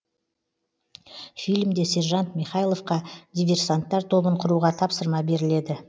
фильмде сержант михайловқа диверсанттар тобын құруға тапсырма беріледі